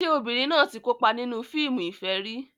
Ṣé obìnrin náà ti kópa nínú fíìmù ìfẹ́ rí?